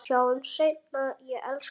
Sjáumst seinna, ég elska þig.